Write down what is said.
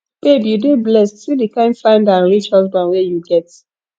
babe you dey blessed see the kin fine and rich husband wey you get